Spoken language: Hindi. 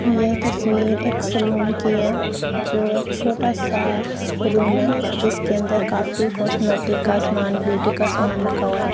यह तस्वीर एक सैलून की है जो एक छोटा सा रूम है जिसके अंदर काफी कॉस्मेटिक का सामान ब्यूटी का सामान रखा हुआ है।